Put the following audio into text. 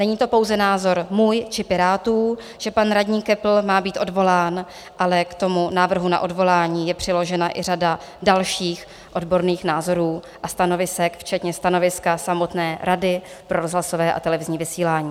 Není to pouze názor můj či Pirátů, že pan radní Köppl má být odvolán, ale k tomu návrhu na odvolání je přiložena i řada dalších odborných názorů a stanovisek, včetně stanoviska samotné Rady pro rozhlasové a televizní vysílání.